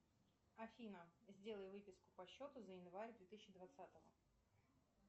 афина сделай выписку по счету за январь две тысячи двадцатого